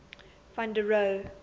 van der rohe